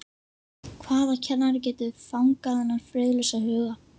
Hvaða kennari getur fangað þennan friðlausa huga?